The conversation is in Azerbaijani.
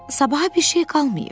Sabaha bir şey qalmayıb.